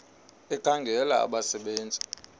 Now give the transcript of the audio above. ekhangela abasebe nzi